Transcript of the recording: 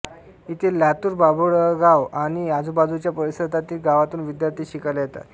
इथे लातूर बाभळगाव आणि आजूबाजूच्या परिसरातील गावांतून विद्यार्थी शिकायला येतात